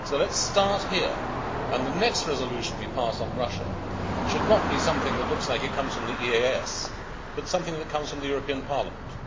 So let us start here, and the next resolution we pass on Russia should not be something that looks as if it comes from the EEAS, but something that comes from the European Parliament.